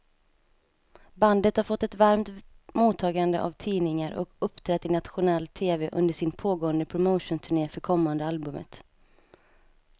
Bandet har fått ett varmt mottagande av tidningar och uppträtt i nationell tv under sin pågående promotionturné för kommande albumet.